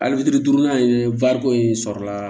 Ali fitiri duurunan ye in sɔrɔla